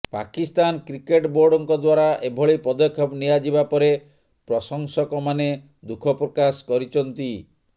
Pakistan cricket ବୋର୍ଡଙ୍କ ଦ୍ୱାରା ଏଭଳି ପଦକ୍ଷେପ ନିଆଯିବା ପରେ ପ୍ରଶଂସକମାନେ ଦୁଃଖ ପ୍ରକାଶ କରିଚନ୍ତି